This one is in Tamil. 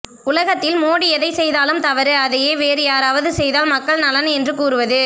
உலகத்தில் மோடி எதை செய்தாலும் தவறு அதையே வேறு யாராவது செய்தால் மக்கள் நலன் என்று கூறுவது